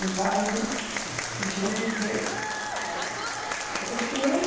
Num bairro de gente que. Ah, é? Que espinheiro.